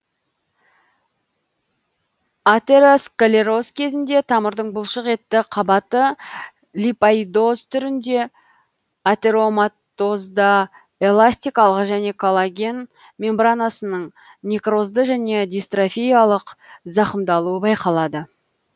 атеросклероз кезінде тамырдың бұлшық етті қабаты липоидоз түрінде атероматозда эластикалық және коллаген мембранасының некрозды және дистрофиялық зақымдалуы байқалады